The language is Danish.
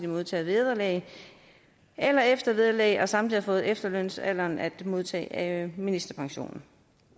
modtager vederlag eller eftervederlag og samtidig nået efterlønsalderen at modtage ministerpension